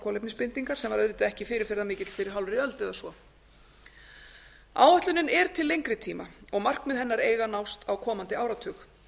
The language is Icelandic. kolefnisbindingar sem var auðvitað ekki fyrirferðarmikill fyrir hálfri öld eða svo áætlunin er til lengri tíma og markmið hennar eiga að nást á komandi áratug